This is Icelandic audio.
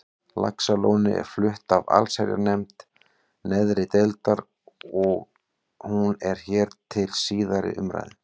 Laxalóni er flutt af allsherjarnefnd neðri deildar og hún er hér til síðari umræðu.